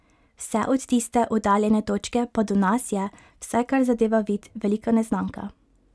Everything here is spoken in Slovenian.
Vse od tiste oddaljene točke pa do nas je, vsaj kar zadeva vid, velika neznanka.